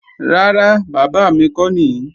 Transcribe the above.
Rárá, bábà mi kọ́ nìí